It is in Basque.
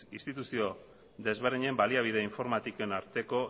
instituzio desberdinen baliabide informatiken arteko